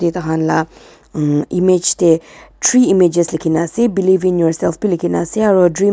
taihan lah umm image teh three images likhi na ase believe in yourself bi likhi na ase aro dream --